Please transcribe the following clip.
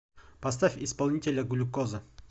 поставь исполнителя глюкоза